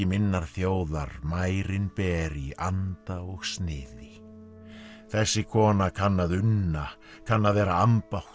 minnar þjóðar mærin ber í anda og sniði þessi kona kann að unna kann að vera ambátt